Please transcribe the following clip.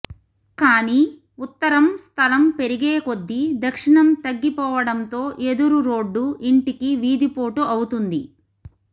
కానీ ఉత్తరం స్థలం పెరిగేకొద్దీ దక్షిణం తగ్గిపోవడంతో ఎదురురోడ్డు ఇంటికి వీధిపోటు అవుతుంది